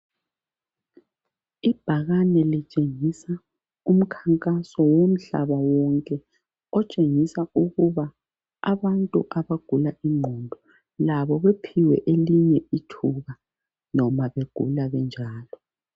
Ibhakane litshengisa umkhankaso womhlaba wonke otshengisa ukuba abantu abagula ingqondo labo baphiwe elinye ithuba lokuphila noma begula benjalo.